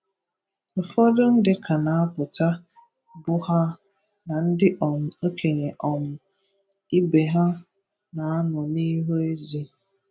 Ụfọdụ ndị ka na-apụta bụ ha na ndị um okenye um ibe ha na-anọ n’ihu ezi